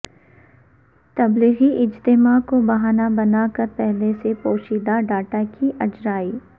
تبلیغی اجتماع کو بہانہ بنا کر پہلے سے پوشیدہ ڈاٹا کی اجرائی